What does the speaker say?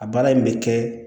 A baara in bɛ kɛ